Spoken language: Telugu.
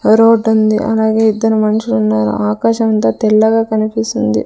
రోడ్డుంది అలాగే ఇద్దరు మనుషులు ఉన్నారు ఆకాశం అంతా తెల్లగా కనిపిస్తుంది.